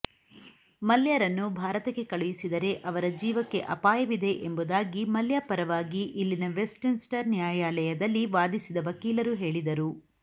ಮಲ್ಯರನ್ನು ಭಾರತಕ್ಕೆ ಕಳುಹಿಸಿದರೆ ಅವರ ಜೀವಕ್ಕೆ ಅಪಾಯವಿದೆ ಎಂಬುದಾಗಿ ಮಲ್ಯ ಪರವಾಗಿ ಇಲ್ಲಿನ ವೆಸ್ಟ್ಮಿನ್ಸ್ಟರ್ ನ್ಯಾಯಾಲಯದಲ್ಲಿ ವಾದಿಸಿದ ವಕೀಲರು ಹೇಳಿದರು